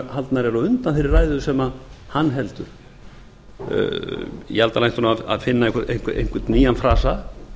á undan þeirri ræðu sem hann heldur ég held að hann ætti að finna einhvern nýjan frasa